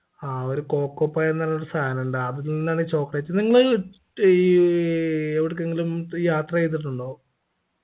ആ ഒരു coco pie എന്നുള്ളൊരു സാനുണ്ട് അതിൽ നിന്നാണ് chocolate നിങ്ങളീ ഏർ എവിടേക്കെങ്കിലും ഈ യാത്ര ചെയ്തിട്ടുണ്ടോ